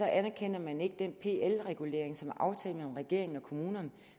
anerkender man ikke den pl regulering som er aftalt mellem regeringen og kommunerne og